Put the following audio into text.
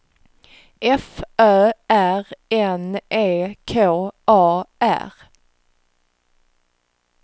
F Ö R N E K A R